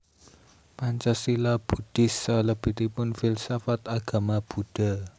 Pancasila Buddhis salabetipun Filsafat Agama Buddha